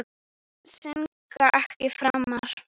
Syndga ekki framar.